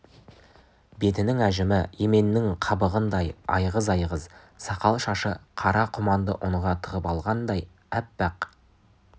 бетінің әжімі еменнің қабығындай айғыз-айғыз сақал-шашы қара құманды ұнға тығып алғандай аппақ